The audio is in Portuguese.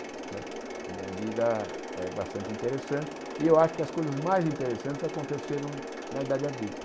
Não é a minha vida é bastante interessante e eu acho que as coisas mais interessantes aconteceram na idade adulta.